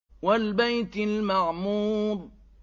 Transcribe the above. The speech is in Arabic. وَالْبَيْتِ الْمَعْمُورِ